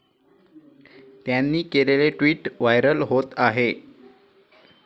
त्यांनी केलेलेे tweet viral होत आहे.